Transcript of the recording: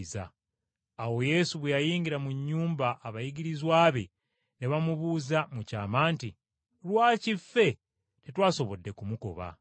Awo Yesu bwe yayingira mu nnyumba abayigirizwa be, ne bamubuuza mu kyama nti, “Lwaki ffe tetwasobodde kumugoba?”